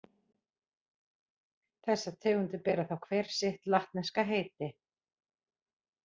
Þessar tegundir bera þá hver sitt latneska heiti.